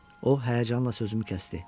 O həyəcanla sözümü kəsdi.